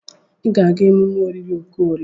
Ị ga-aga emume olili Okorie!